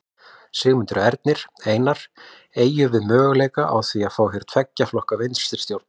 Sigmundur Ernir: Einar, eygjum við möguleika á því að fá hér tveggja flokka vinstristjórn?